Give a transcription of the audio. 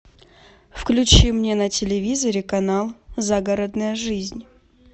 включи мне на телевизоре канал загородная жизнь